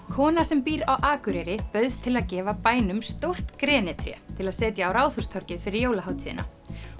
kona sem býr á Akureyri bauðst til að gefa bænum stórt grenitré til að setja á Ráðhústorgið fyrir jólahátíðina